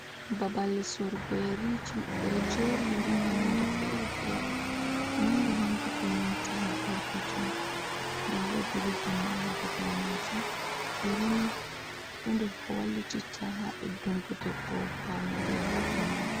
Babal sorogo nyeriji. Beɗo jeri nyeri man nonɗe fere-fere. Manga manga be nanta perpeton, nda wodi rivon ma ha babal majum. Nyerini ɗo der ko wallititta ha beɗungo ɗebbo ha voɗega.